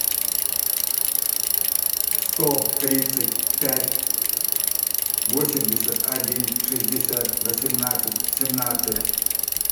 сто тридцать пять восемьдесят один шестьдесят восемнадцать семнадцать